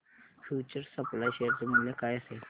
future supply share चे मूल्य काय असेल